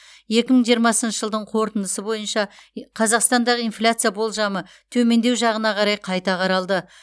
екі мың жиырмасыншы жылдың қорытындысы бойынша қазақстандағы инфляция болжамы төмендеу жағына қарай қайта қаралды